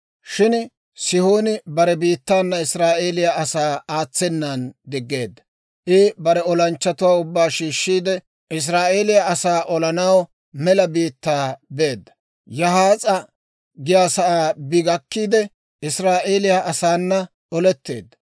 Shin Sihooni bare biittaana Israa'eeliyaa asaa aatsenan diggeedda; I bare olanchchatuwaa ubbaa shiishiide, Israa'eeliyaa asaa olanaw mela biittaa beedda; Yahaas'a giyaasaa bi gakkiide, Israa'eeliyaa asaana oletteedda.